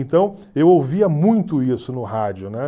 Então eu ouvia muito isso no rádio, né?